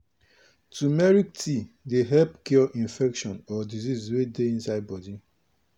dongoyaro leaf wey dey grind fit um work as powder wey go fight fungi.